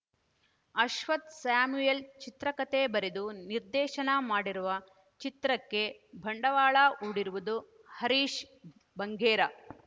Ashwath Samuel ಚಿತ್ರಕಥೆ ಬರೆದು ನಿರ್ದೇಶನ ಮಾಡಿರುವ ಚಿತ್ರಕ್ಕೆ ಬಂಡವಾಳ ಹೂಡಿರುವುದು ಹರೀಶ್‌ ಬಂಗೇರ